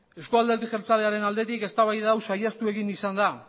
euzko alderdi jeltzalearen aldetik eztabaida hau saihestu egin izan da